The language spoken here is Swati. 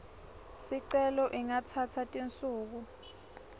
sicelo ingatsatsa tinsuku